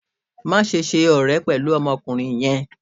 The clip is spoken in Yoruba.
maṣe ṣe ọrẹ pẹlu ọmọkunrin yẹn!